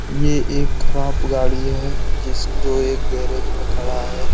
ये एक ख़राब गाड़ी है जिस जो ये गेराज में खड़ा है ।